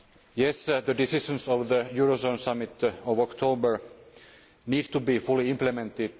Yes, the decisions of the eurozone summit of October need to be fully implemented.